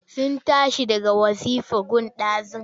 Sun tashi daga wazifa gun ɗazu.